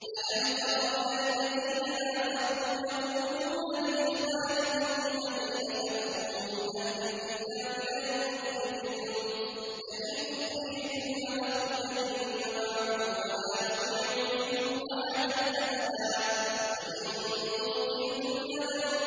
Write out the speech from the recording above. ۞ أَلَمْ تَرَ إِلَى الَّذِينَ نَافَقُوا يَقُولُونَ لِإِخْوَانِهِمُ الَّذِينَ كَفَرُوا مِنْ أَهْلِ الْكِتَابِ لَئِنْ أُخْرِجْتُمْ لَنَخْرُجَنَّ مَعَكُمْ وَلَا نُطِيعُ فِيكُمْ أَحَدًا أَبَدًا وَإِن قُوتِلْتُمْ لَنَنصُرَنَّكُمْ